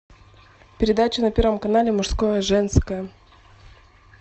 передача на первом канале мужское женское